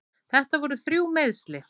Þetta voru þrjú meiðsli.